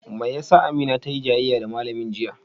Me ya sa Amina tayi jayayya da malamin jiya?